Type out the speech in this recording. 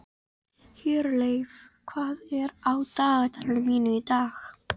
Hjörleif, hvað er á dagatalinu mínu í dag?